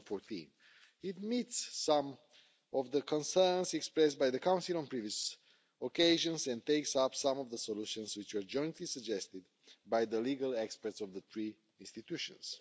2014. It meets some of the concerns expressed by the Council on previous occasions and takes up some of the solutions which are jointly suggested by the legal experts of the three institutions.